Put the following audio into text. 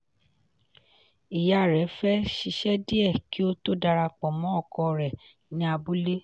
ìyá rẹ̀ fẹ́ ṣiṣẹ́ díẹ̀ kí ó tó darapọ̀ mọ́ ọkọ rẹ̀ ní abúlé.